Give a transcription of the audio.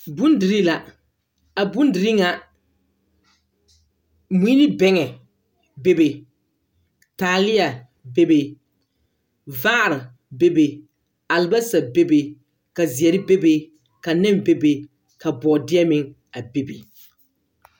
Bondirii la, a bondirii ŋa, mui ne bɛŋɛ be be, taaleɛ be be, vaare be be, albasa be be, ka zeɛre be be, ka nɛne be be, ka bɔɔdeɛ meŋ be be.